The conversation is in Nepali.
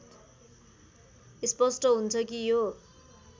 स्पष्ट हुन्छ कि यो